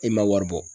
E ma wari bɔ